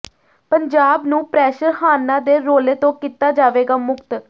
ਪੰਜਾਬ ਨੂੰ ਪ੍ਰੈਸ਼ਰ ਹਾਰਨਾਂ ਦੇ ਰੌਲੇ ਤੋਂ ਕੀਤਾ ਜਾਵੇਗਾ ਮੁਕਤ